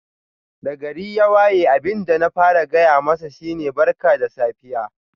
Da gari ya waye abin da na fara gaya masa shi ne Barka da safiya.